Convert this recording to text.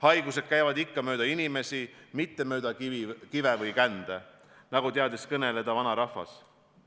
Haigused käivad ikka mööda inimesi, mitte mööda kive ja kände, nagu teadis öelda vanarahvas.